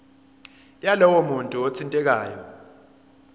yalowo muntu othintekayo